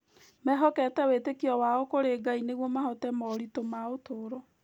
Mehokete wĩĩtĩkio wao kũrĩ Ngai nĩguo mahoote moritũ ma ũtũũro.